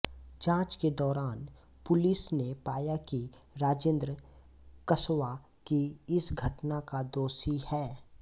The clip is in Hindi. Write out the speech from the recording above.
जाँच के दौरान पुलिस ने पाया कि राजेन्द्र कसवा ही इस घटना का दोषी है